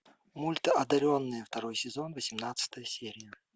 мульт одаренные второй сезон восемнадцатая серия